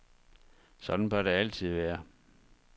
Sådan bør det altid være.